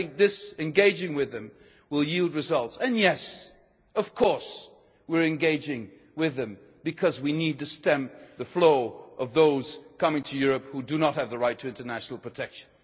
think so. I think this engaging with them will yield results. And yes, of course, we are engaging with them because we need to stem the flow of those coming to Europe who do not have the right to international